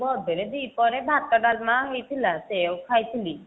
birthday ରେ ଦି ପହରେ ଭାତ ଡାଲମା ହେଇଥିଲା ସେୟା କୁ ଖାଇଥିଲି